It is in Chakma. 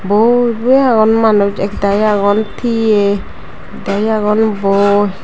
boi boi agon manus ak dagi agon tiya ekdagi agon boi.